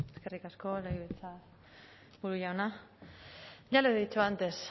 eskerrik asko legebiltzarburu jauna ya le he dicho antes